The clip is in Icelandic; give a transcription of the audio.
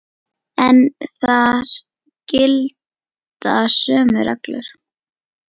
En þar gilda sömu reglur.